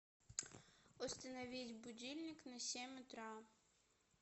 установить будильник на семь утра